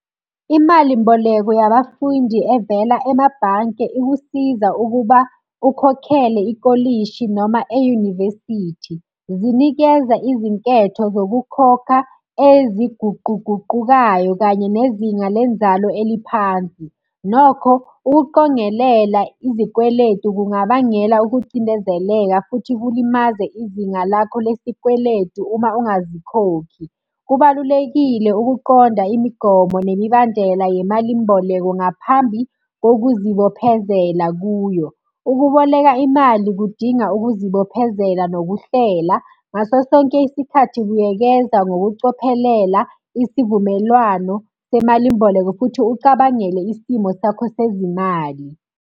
Imalimboleko yabafundi evela emabhanke ikusiza ukuba, ukhokhele ikolishi noma eyunivesithi. Zinikeza izinketho zokukhokha eziguquguqukayo kanye nezinga lenzalo eliphansi. Nokho, ukuqongelela izikweletu kungabangela ukucindezeleka futhi kulimaze izinga lakho lesikweletu uma ungazikhokhi. Kubalulekile ukuqonda imigomo nemibandela yemalimboleko ngaphambi kokuzibophezela kuyo. Ukuboleka imali kudinga ukuzibophezela nokuhlela. Ngaso sonke isikhathi buyekeza ngokucophelela isivumelwano semalimboleko, futhi ucabangele isimo sakho sezimali.